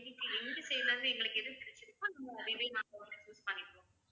எங்க side ல இருந்து எங்களுக்கு எது பிடிச்சிருக்கோ நாங்க அதுவே நாங்க வந்து choose பண்ணிக்கிறோம்